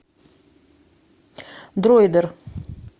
дроидер